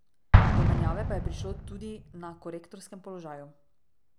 Do menjave pa je prišlo tudi na korektorskem položaju.